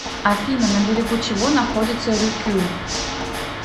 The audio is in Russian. афина на берегу чего находится рюкю